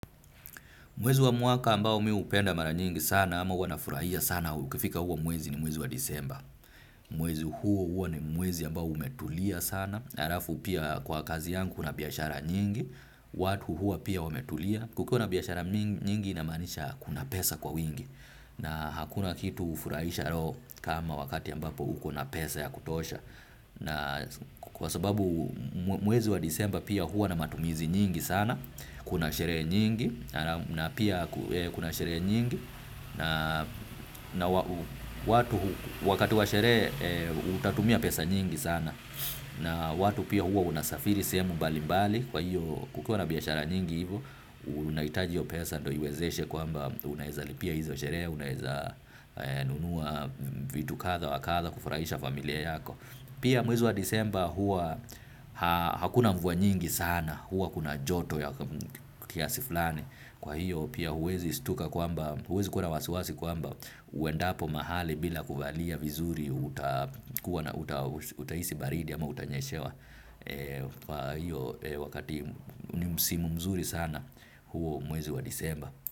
Mwezi wa mwaka ambao mi hupenda mara nyingi sana ama huanafurahia sana. Ukifika huwa mwezi ni mwezi wa disemba. Mwezi huo huo ni mwezi ambao umetulia sana. Arafu pia kwa kazi yangu kuna biashara nyingi. Watu hua pia wametulia. Kukiwa na biashara nyingi inamanisha kuna pesa kwa wingi. Na hakuna kitu hufurahisha roho kama wakati ambapo ukona pesa ya kutosha. Na kwa sababu mwezi wa disemba pia hua na matumizi nyingi sana. Kuna sherehe nyingi na pia kuna sheree nyingi na watu wakati wa sherehe utatumia pesa nyingi sana na watu pia huwa unasafiri sehemu mbali mbali kwa hiyo kukukiwa na biashara nyingi hivo unahitaji hiyo pesa ndo iwezeshe kwamba unaeza lipia hizo sherehe unaeza nunua vitu katha wa katha kufurahisha familia yako. Pia mwezi wa disemba hua hakuna mvua nyingi sana hua kuna joto ya kiasiflani kwa hiyo pia huwezi stuka kwamba huwezi kua wasiwasi kuamba uendapo mahali bila kuvalia vizuri utahisi baridi ama utanyeshewa kwa hiyo wakati ni msimu mzuri sana huo mwezi wa disemba.